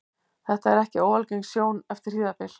Þetta er ekki óalgeng sjón eftir hríðarbyl.